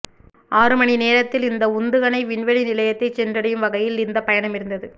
ஆறு மணி நேரத்தில் இந்த உந்துகணை விண்வெளி நிலையத்தை சென்றடையும் வகையில் இந்த பயணம் இருந்தது